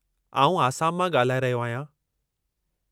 आउं आसाम मां ॻाल्हाए रहियो आहियां।